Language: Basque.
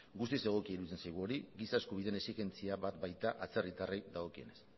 guztiz egokia iruditzen zaigu hori giza eskubideen exigentzia bat bai da atzerritarrei dagokienez